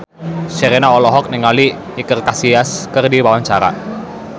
Sherina olohok ningali Iker Casillas keur diwawancara